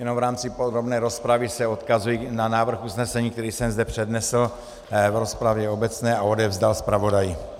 Jenom v rámci podrobné rozpravy se odkazuji na návrh usnesení, který jsem zde přednesl v rozpravě obecné a odevzdal zpravodaji.